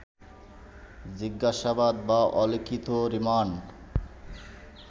জিজ্ঞাসাবাদ বা অলিখিত রিমান্ড